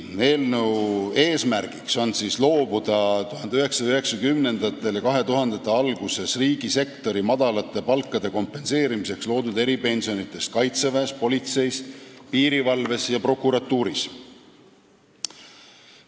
Eelnõu eesmärk on loobuda 1990. ja 2000. aastate alguses riigisektori madalate palkade kompenseerimiseks loodud eripensionidest kaitseväes, politseis, piirivalves ja prokuratuuris.